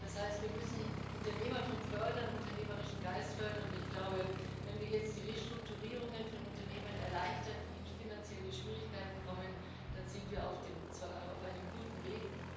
Das heißt, wir müssen Unternehmertum fördern, unternehmerischen Geist fördern, und wenn wir jetzt die Restrukturierungen von Unternehmen erleichtern, die in finanzielle Schwierigkeiten kommen, dann sind wir auf einem guten Weg.